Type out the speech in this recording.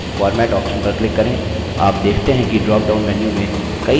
अब मुख्य menu में format option पर click करें